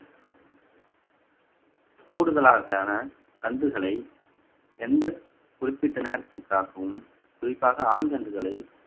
கூடுதலாக ஆன கன்றுகளை எந்த குறிப்பிட்ட நேரத்திற்காகவும் குறிப்பாக ஆண் கன்றுகளை